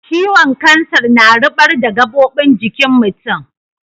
ciwon kansar na rubar da gabobin jikin mutum.